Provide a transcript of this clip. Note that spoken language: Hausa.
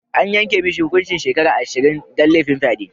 An yanka mishi hukuncin shekaru ashirin dan lafin fyade.